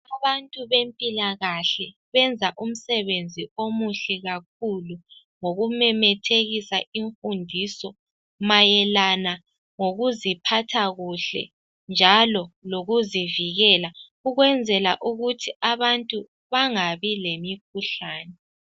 Abantu bezempilakahle benza umsebenzi omuhle kakhulu ngokumemethekisa imfundiso mayelana ngokuziphatha kuhle njalo lokuzivikela ukwenzela ukuthi abantu bangabi lemikhuhlane.